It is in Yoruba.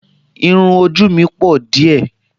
Irún ojú mi pọ̀ díẹ̀